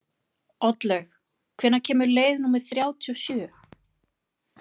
Oddlaug, hvenær kemur leið númer þrjátíu og sjö?